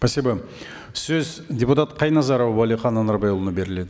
спасибо сөз депутат қайназаров уәлихан анарбайұлына беріледі